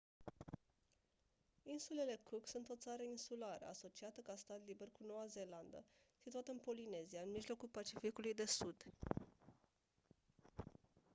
insulele cook sunt o țară insulară asociată ca stat liber cu noua zeelandă situată în polinezia în mijlocul pacificului de sud